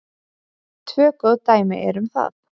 Tvö góð dæmi eru um það.